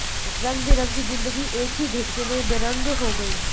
रंगबिरंगी जिंदगी एक ही झटके में बेरंग हो गई